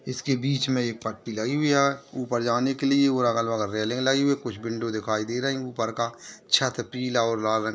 इसके बीच मे ये पट्टी लगी हुई है उपर जाने के लिए और अगल बगल रेलिंग लगी है कुछ विंडो दिखाई दे रही है उपर का छत पीला और लाल रंग--